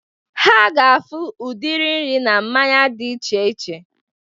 Ha ga-afụ udiri nri na mmanya dị iche iche